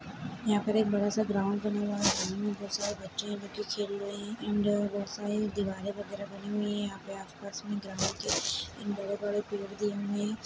यहाँ पर एक बड़ा सा ग्राउंड बना हुआ है ग्राउंड बहोत सारे बच्चे है जो क्रिकेट खेल रहे है एंड बहोत सारी दिवाले वगैरा बनी हुई है यहाँ पे आसपास में ग्राउंड के और बड़े-बड़े पेड़ भी है।